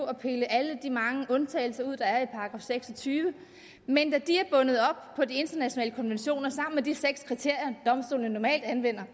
at pille alle de mange undtagelser ud der er i § seks og tyve men da de er bundet op på de internationale konventioner sammen med de seks kriterier domstolene normalt anvender